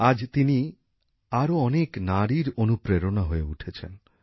আজ তিনি আরও অনেক নারীর অনুপ্রেরণা হয়ে উঠেছেন